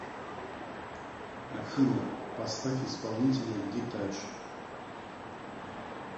афина поставь исполнителя дитач